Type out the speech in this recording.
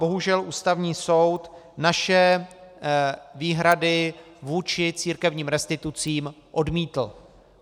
Bohužel Ústavní soud naše výhrady vůči církevním restitucím odmítl.